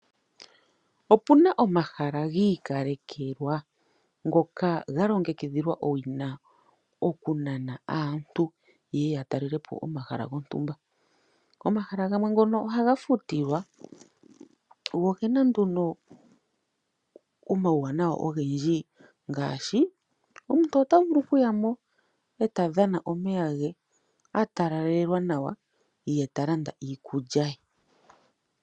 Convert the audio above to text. Opuna omahala giikalekelwa ngoka galongekidhilwa owina okunana aantu yeye yatalelepo omahala gontumba. Omahala gamwe gono ohaga futilwa go ogena omauwanawa ogendji, ngaashi omuntu otovulu oku yamo etadhana omeya nge etatalalelwa nawa, yetalanda iikulya ye.